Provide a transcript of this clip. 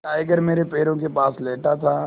tiger मेरे पैरों के पास लेटा था